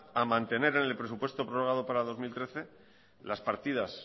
a mantener en el presupuesto prorrogado para el dos mil trece las partidas